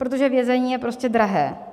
Protože vězení je prostě drahé.